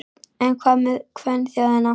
En hvað með kvenþjóðina?